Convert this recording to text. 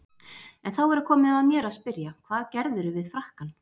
En þá er komið að mér að spyrja: hvað gerðirðu við frakkann?